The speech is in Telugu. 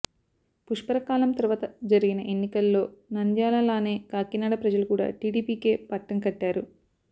పుష్కరకాలం తర్వాత జరిగిన ఎన్నికల్లో నంద్యాలలానే కాకినాడ ప్రజలు కూడా టీడీపీకే పట్టంకట్టారు